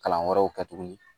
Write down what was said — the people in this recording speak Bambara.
Kalan wɛrɛw kɛ tuguni